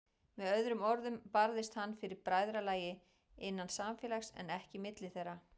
Með öðrum orðum barðist hann fyrir bræðralagi, innan samfélags, en ekki milli þeirra.